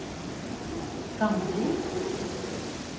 Gamvik